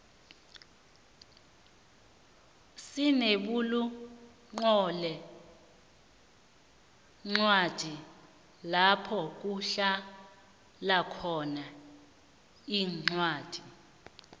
sinebulunqolencwadi lapho kuhlalakhona incwadi